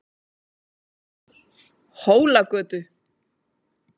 Hólagötu